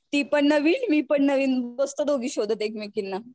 ती पण नवीन मी पण नवीन बसतो शोधत एकमेकींना.